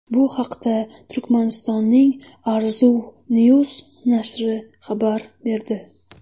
Bu haqda Turkmanistonning Arzuw News nashri xabar berdi .